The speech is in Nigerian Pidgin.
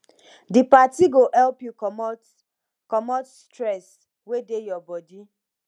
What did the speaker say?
di party go help yu comot comot stress wey dey body